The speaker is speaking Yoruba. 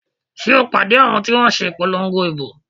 Sé o pàdé àwọn ti wọ́n n se ìpolongo ìbò?